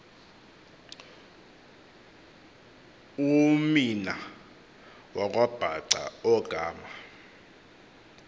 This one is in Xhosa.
umeana wakwabhaca ogama